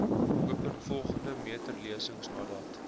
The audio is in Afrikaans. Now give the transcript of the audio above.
opeenvolgende meterlesings nadat